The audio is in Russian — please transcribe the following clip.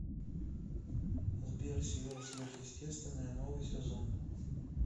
сбер сериал сверхестетвенное новый сезон